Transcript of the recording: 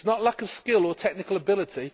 It is not lack of skill or technical ability.